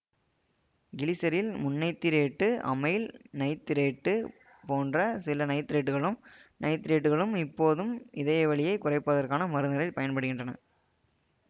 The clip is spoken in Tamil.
கிளிசரில் முந்நைத்திரேட்டு அமைல் நைத்திரைட்டு போன்ற சில நைத்திரேட்டுக்களும் நைத்திரைட்டுக்களும் இப்போதும் இதயவலியைக் குறைப்பதற்கான மருந்துகளில் பயன்படுகின்றன